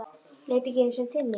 Leit ekki einu sinni til mín.